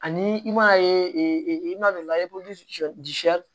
Ani i m'a ye i ma don